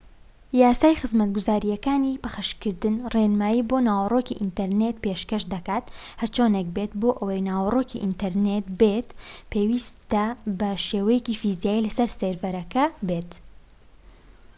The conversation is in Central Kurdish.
یاسای خزمەتگوزاریەکانی پەخشکردن ڕێنمایی بۆ ناوەڕۆکی ئینتەرنێت پێشکەش دەکات هەرچۆنێک بێت بۆ ئەوەی ناوەڕۆکی ئینتەرنێت بێت پێویستە بە شێوەیەکی فیزیایی لە سەر سێرڤەرێک بێت